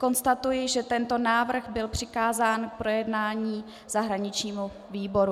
Konstatuji, že tento návrh byl přikázán k projednání zahraničnímu výboru.